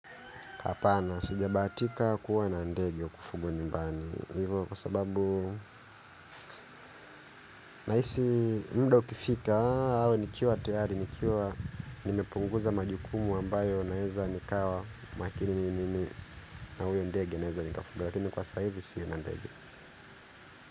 Hapana, sijabaatika kuwa na ndege wa kufugwa nyumbani. Hivo kwa sababu, nahisi muda ukifika, hau nikiwa tayari, nikiwa, nimepunguza majukumu ambayo naeza nikawa makini ni mimi na huyo ndege naeza nikafuga. Lakini kwa sasa hivi, sina ndege.